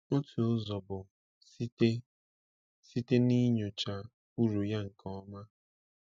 Otu ụzọ bụ site site n’inyocha uru ya nke ọma.